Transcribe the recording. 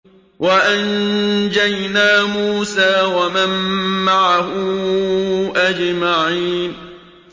وَأَنجَيْنَا مُوسَىٰ وَمَن مَّعَهُ أَجْمَعِينَ